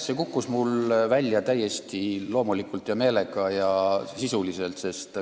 See kukkus mul välja täiesti loomulikult, meelega ja sisuliselt.